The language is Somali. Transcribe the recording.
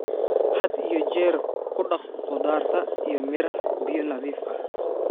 Had iyo jeer ku dhaq khudaarta iyo miraha biyo nadiif ah.